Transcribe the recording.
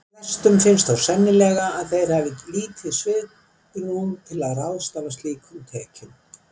Flestum finnst þó sennilega að þeir hafi lítið svigrúm til að ráðstafa slíkum tekjum.